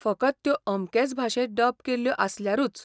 फकत त्यो अमकेच भाशेंत डब केल्ल्यो आसल्यारूच.